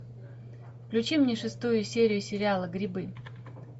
включи мне шестую серию сериала грибы